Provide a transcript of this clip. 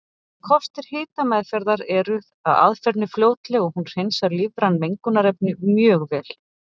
Kostir hitameðferðar eru að aðferðin er fljótleg og hún hreinsar lífræn mengunarefni mjög vel.